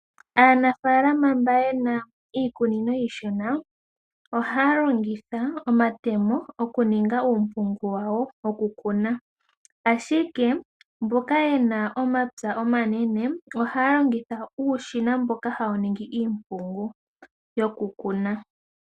Aanafaalama mba yena iikunino iishona ohaya longitha omatemo oku ninga uumpungu wawo woku kuna. Ashike mboka yena omapya omanene ohaya longitha uushina mboka hawu ningi iimpungu yoku kuna.